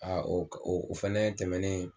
o k o o fɛnɛ tɛmɛnen